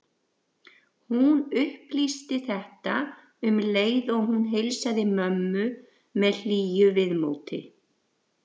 Hún upplýsti þetta um leið og hún heilsaði mömmu með hlýju viðmóti.